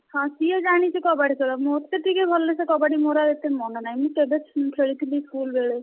ହଁ ସିଏ ଜାଣିଛି କବାଡି ଖେଳ ମତେ ଟିକେ ଭଲସେ କବାଡି ମୋର ଆଉ ଏତେ ମନେ ନାହିଁ ମୁଁ କେବେ ଖେଳିଥିଲି school ବେଳେ,